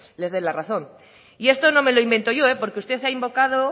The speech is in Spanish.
les den la razón y esto no me lo invento yo porque usted ha invocado